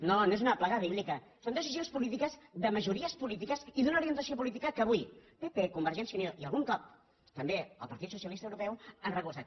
no no és una plaga bíblica són decisions polítiques de majories polítiques i d’una orientació política que avui pp convergència i unió i algun cop també el partit socialista europeu han recolzat